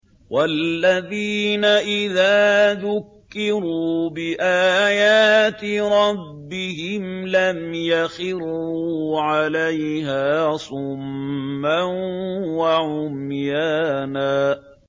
وَالَّذِينَ إِذَا ذُكِّرُوا بِآيَاتِ رَبِّهِمْ لَمْ يَخِرُّوا عَلَيْهَا صُمًّا وَعُمْيَانًا